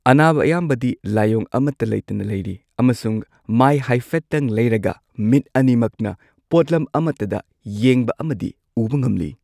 ꯑꯅꯥꯕ ꯑꯌꯥꯝꯕꯗꯤ ꯂꯥꯏꯑꯣꯡ ꯑꯃꯠꯇ ꯂꯩꯇꯅ ꯂꯩꯔꯤ ꯑꯃꯁꯨꯡ ꯃꯥꯢ ꯍꯥꯢꯐꯦꯠꯇꯪ ꯂꯩꯔꯒ ꯃꯤꯠ ꯑꯅꯤꯃꯛꯅ ꯄꯣꯠꯂꯝ ꯑꯃꯠꯇꯗ ꯌꯦꯡꯕ ꯑꯃꯗꯤ ꯎꯕ ꯉꯝꯂꯤ꯫